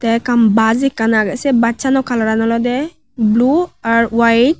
te ekkan baj ekkan se bassano kalaran olode blu ar waet.